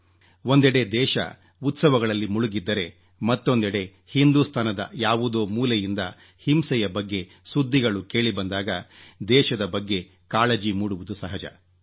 ಒಂದೆಡೆ ದೇಶ ಉತ್ಸವಗಳಲ್ಲಿ ಮುಳುಗಿದ್ದರೆ ಮತ್ತೊಂದೆಡೆ ಹಿಂದೂಸ್ತಾನದ ಯಾವುದೋ ಮೂಲೆಯಿಂದ ಹಿಂಸೆಯ ಬಗ್ಗೆ ಸುದ್ದಿಗಳು ಕೇಳಿಬಂದಾಗ ದೇಶದ ಬಗ್ಗೆ ಕಾಳಜಿ ಮೂಡುವುದು ಸಹಜ